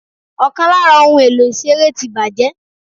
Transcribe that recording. Ọ̀kan lára ohun èlò ìṣeré ti bàjẹ́.